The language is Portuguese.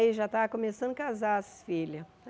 Aí já estava começando a casar as filhas.